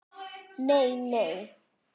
Nei nei.